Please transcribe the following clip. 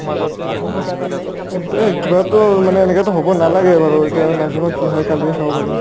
এহতে কিবাটো মানে এনেকাটো হ'ব নালাগে বাৰু ইতা নাজানো আৰু এতিয়া কালিহে চাব পাৰিম